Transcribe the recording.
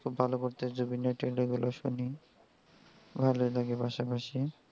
খুব ভালো করতেছে জুবিন নটিয়াল এর গুলো শুনি ভালোই লাগে পাশাপাশি.